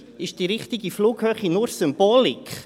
Ist die richtige Flughöhe nur Symbolik?